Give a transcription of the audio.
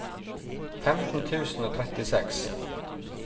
femten tusen og trettiseks